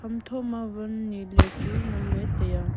hamtho ma wan niley chu ngan taiya.